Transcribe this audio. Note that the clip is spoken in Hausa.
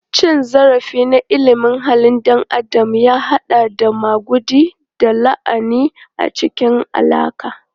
Cin zarafi na ilimin halin ɗan adam ya haɗa da maguɗi da lahani a cikin alaƙa.